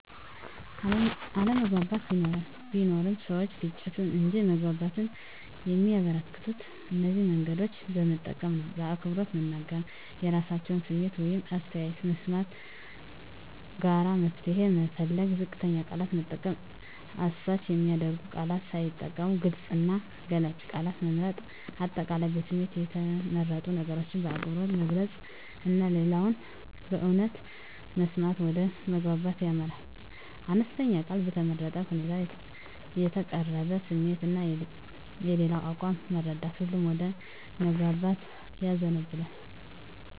አለመግባባት ቢኖርም፣ ሰዎች ግጭትን እንጂ መግባባትን የሚያበረከቱት እነዚህን መንገዶች በመጠቀም ነው በአክብሮት መናገር – የራሳቸውን ስሜት ወይም አስተያየት መስማት ጋራ መፍትሄ መፈለግ ዝቅተኛ ቃላት መጠቀም – አሳች የሚያደርጉ ቃላት ሳይጠቀሙ ግልጽ እና ገላጭ ቃላት መምረጥ። አጠቃላይ በስሜት የተመረጡ ነገሮችን በአክብሮት መግለጽ እና ሌላውን በእውነት መስማት ወደ መግባባት ያመራል። አነስተኛ ቃል በተመረጠ ሁኔታ የተቀረበ ስሜት እና የሌላው አቋም መረዳት ሁሉንም ወደ መግባባት ያዘንባል።